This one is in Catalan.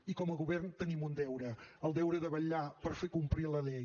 i com a govern tenim un deure el deure de vetllar per fer complir la llei